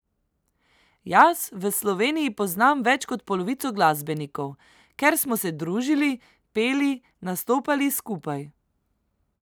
Jaz v Sloveniji poznam več kot polovico glasbenikov, ker smo se družili, peli, nastopali skupaj ...